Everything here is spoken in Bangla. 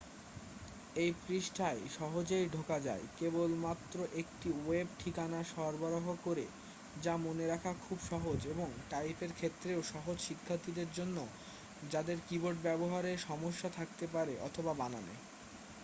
এই পৃষ্ঠায় সহজেই ঢোকা যায় কেবলমাত্র একটি ওয়েব ঠিকানা সরবরাহ করে যা মনে রাখা খুব সহজ এবং টাইপের ক্ষেত্রেও সহজ শিক্ষার্থীদের জন্য যাদের কিবোর্ড ব্যাবহারে সমস্যা থাকতে পারে অথবা বানানে